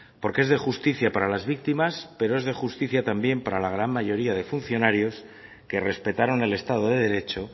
porque es de justicia para las víctimas pero es de justicia también para la gran mayoría de funcionarios que respetaron el estado de derecho